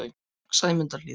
Sæmundarhlíð